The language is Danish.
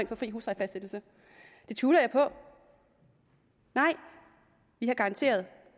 for fri huslejefastsættelse det tvivler jeg på nej vi har garanteret at